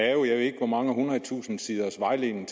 jeg ved ikke hvor mange hundrede tusinde siders vejledning